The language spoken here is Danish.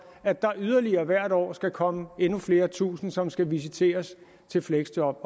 at der yderligere hvert år skal komme endnu flere tusinde som skal visiteres til fleksjob